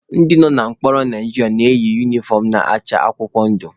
Ndị nọ na mkpọrọ Naijiria na-eyi unifọm na-acha akwụkwọ ndụ.